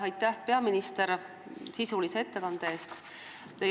Aitäh, peaminister, sisulise ettekande eest!